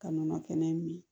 Ka nɔnɔ kɛnɛ min